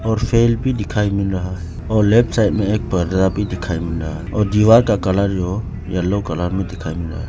Fan भी दिखाई मिल रहा है और लेफ्ट साइड में एक पर्दा भी दिखाई मिल रहा है और दीवार का कलर जो येलो कलर में दिखाई मिला है।